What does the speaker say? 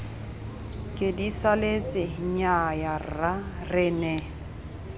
kedisaletse nnyaya rra re ne